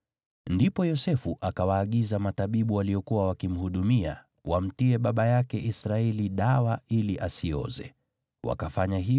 Ndipo Yosefu akawaagiza matabibu waliokuwa wakimhudumia, wamtie baba yake Israeli dawa ili asioze. Hivyo matabibu wakamtia dawa asioze,